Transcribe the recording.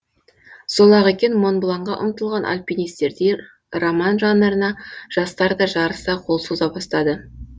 сол ақ екен монбланға ұмтылған альпинистердей роман жанрына жастар да жарыса қол соза бастады